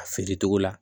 A feere cogo la